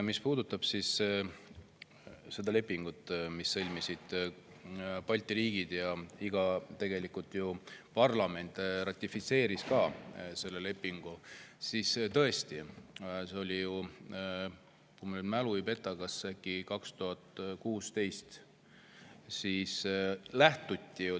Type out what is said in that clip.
Mis puudutab seda lepingut, mille sõlmisid Balti riigid ja mille parlamendid ka ratifitseerisid, siis tõesti see oli ju, kui mu mälu ei peta, kas äkki 2016.